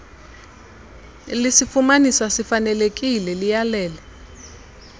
lisifumanisa sifanelekile liyalele